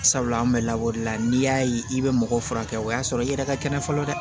Sabula an bɛ lakɔrila n'i y'a ye i bɛ mɔgɔ furakɛ o y'a sɔrɔ i yɛrɛ ka kɛnɛ fɔlɔ dɛ